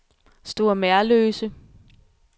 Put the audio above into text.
Store Merløse